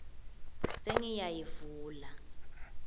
sengiyayivula